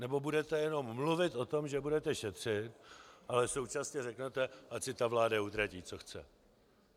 Nebo budete jenom mluvit o tom, že budete šetřit, ale současně řeknete: ať si ta vláda utratí, co chce.